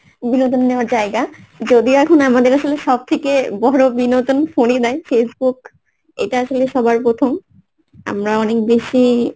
বিনোদন নেওয়ার জায়গা যদিও এখন আমাদের আসলে সব থেকে বড় বিনোদন phone ই নেয় Facebook এটা আসলে সবার প্রথম আমরা অনেক বেশি